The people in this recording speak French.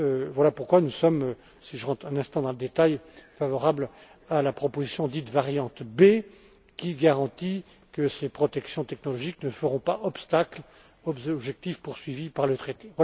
Voilà pourquoi nous sommes, si j'entre un instant dans le détail, favorables à la proposition dite variante B, qui garantit que ces protections technologiques ne feront pas obstacle aux objectifs poursuivis par